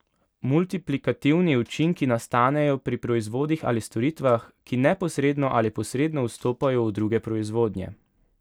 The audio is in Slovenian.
Multiplikativni učinki nastanejo pri proizvodih ali storitvah, ki neposredno ali posredno vstopajo v druge proizvodnje.